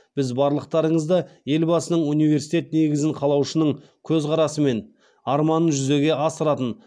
біз барлықтарыңызды елбасының университет негізін қалаушының көзқарасы мен арманын жүзеге асыратын